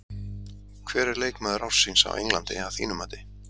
Hver er leikmaður ársins á Englandi að þínu mati?